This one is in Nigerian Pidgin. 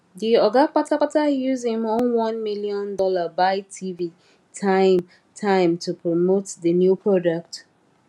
the oga patapata use him own one million dollar buy tv time time to promote the new product